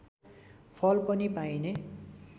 फल पनि पाइने